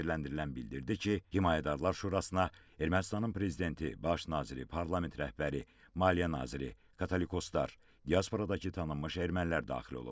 Təqsirləndirilən bildirdi ki, Himayədarlar Şurasına Ermənistanın prezidenti, baş naziri, parlament rəhbəri, maliyyə naziri, katolikoslar, diasporadakı tanınmış ermənilər daxil olub.